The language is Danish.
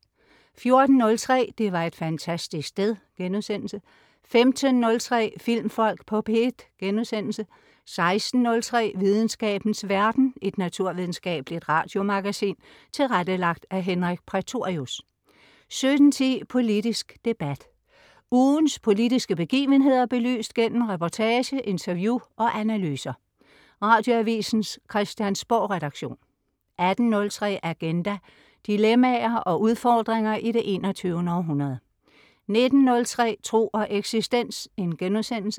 14.03 Det var et fantastisk sted* 15.03 Filmfolk på P1* 16.03 Videnskabens verden. Et naturvidenskabeligt radiomagasin tilrettelagt af Henrik Prætorius 17.10 Politisk debat. Ugens politiske begivenheder belyst gennem reportage, interview og analyser. Radioavisens Christiansborgredaktion 18.03 Agenda. Dilemmaer og udfordringer i det 21. århundrede 19.03 Tro og eksistens*